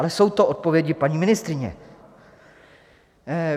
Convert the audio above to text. Ale jsou to odpovědi paní ministryně.